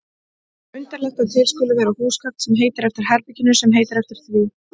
Undarlegt að til skuli vera húsgagn sem heitir eftir herberginu sem heitir eftir því.